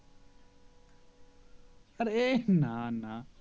আরে না না